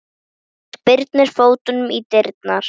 Spyrnir fótunum í dyrnar.